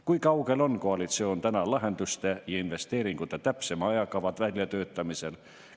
Kui kaugel on koalitsioon täna lahenduste ja investeeringute täpsema ajakava väljatöötamisel?